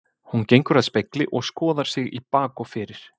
Hún gengur að spegli og skoðar sig í bak og fyrir.